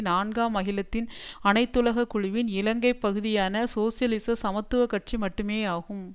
நான்காம் அகிலத்தின் அனைத்துலக குழுவின் இலங்கை பகுதியான சோசியலிச சமத்துவ கட்சி மட்டுமேயாகும்